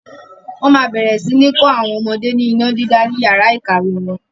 Wọn máa bẹ̀rẹ̀ sini kọ́ àwọn ọmọdé ní iná dídá ni yàrá ìkàwé wọn.